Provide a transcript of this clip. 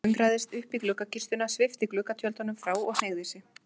Bogga klöngraðist upp í gluggakistuna, svipti gluggatjöldunum frá og hneigði sig.